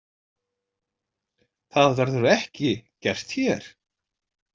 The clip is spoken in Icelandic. Það verður ekki gert hér.